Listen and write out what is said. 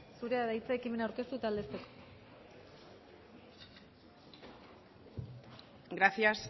zurea da hitza ekimena aurkeztu eta aldezteko gracias